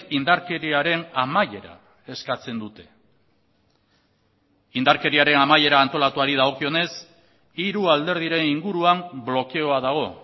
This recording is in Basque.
indarkeriaren amaiera eskatzen dute indarkeriaren amaiera antolatuari dagokionez hiru alderdiren inguruan blokeoa dago